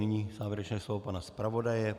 Nyní závěrečné slovo pana zpravodaje.